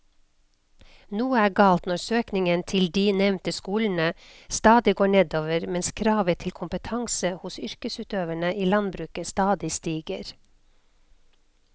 Noe er galt når søkningen til de nevnte skolene stadig går nedover mens kravet til kompetanse hos yrkesutøverne i landbruket stadig stiger.